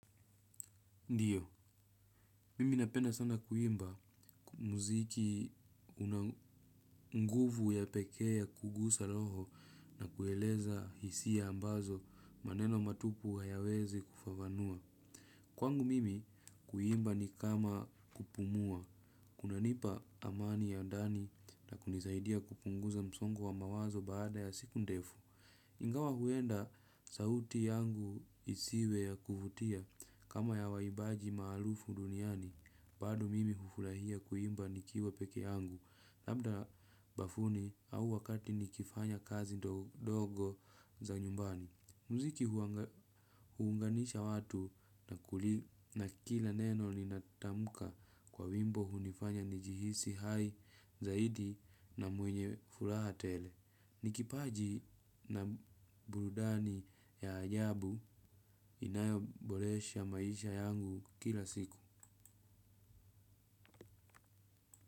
Ndiyo, mimi napenda sana kuimba muziki una nguvu ya pekee ya kugusa roho na kueleza hisia ambazo maneno matupu hayawezi kufafanua. Kwangu mimi kuimba ni kama kupumua. Kunanipa amani ya ndani na kunisaidia kupunguza msongo wa mawazo baada ya siku ndefu. Ingawa huenda sauti yangu isiwe ya kuvutia kama ya waimbaji maarufu duniani bado mimi hufurahia kuimba nikiwa peke yangu labda bafuni au wakati nikifanya kazi ndogo za nyumbani. Muziki huunganisha watu na kila neno ninatamka kwa wimbo hunifanya nijihisi hai zaidi na mwenye furaha tele. Ni kipaji na burudani ya ajabu inayoboresha maisha yangu kila siku.